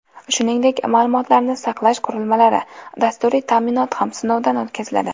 Shuningdek, ma’lumotlarni saqlash qurilmalari, dasturiy ta’minot ham sinovdan o‘tkaziladi.